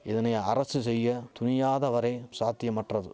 இதனை அரசு செய்ய துணியாத வரை சாத்தியமற்றது